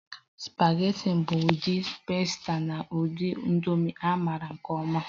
Supageti bụ ụdị pasta na ụdị nudul a maara nke ọma